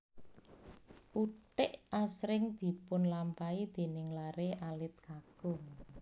Uthik asring dipunlampahi déning laré alit kakung